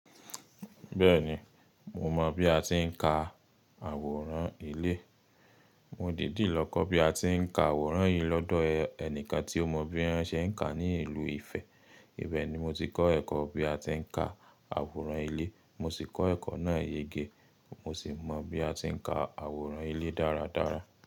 Bẹ́ẹ̀ni, mo mọ bí a ti ń ka àwòrán ilé. Mo dìdí lọ kọ́ bí a ti ń ka àwòrán yìí lọ́dọ̀ ẹnìkan tí ó mọ bí wọ́n ṣe ń kàá ní ìlú Ifẹ̀. Ibẹ̀ ni mo ti kọ́ ẹ̀kọ́ bí a ti ń ka àwòrán ilé. Mo sì kọ́ ẹ̀kọ́ náà yege, mo ṣì mọ bí a ti ń ka àwòrán ilé dáradára.